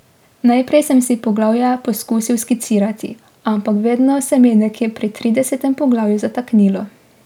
Najprej sem si poglavja poskusil skicirati, ampak vedno se mi je nekje pri tridesetem poglavju zataknilo.